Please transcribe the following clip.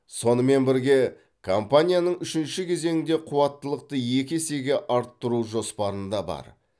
сонымен бірге компанияның үшінші кезеңде қуаттылықты екі есеге арттыру жоспарында бар